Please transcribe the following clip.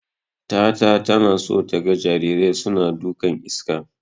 Tata tana so taga jarirai suna dukan iska.